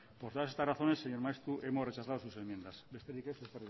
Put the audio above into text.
por todas estas razones señor maeztu hemos rechazado sus enmiendas besterik ez